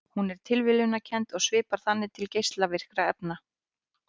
Hún er tilviljunarkennd og svipar þannig til geislavirkni efna.